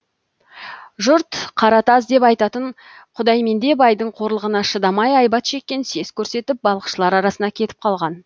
жұрт қаратаз деп атайтын құдайменде байдың қорлығына шыдамай айбат шеккен сес көрсетіп балықшылар арасына кетіп қалған